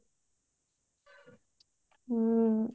ହୁଁ